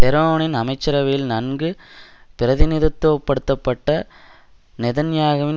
ஷெரோனின் அமைச்சரவையில் நன்கு பிரதிநிதித்துவப்படுத்தப்பட்ட நெதன்யாகுவின்